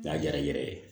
Ja yɛrɛ yɛrɛ ye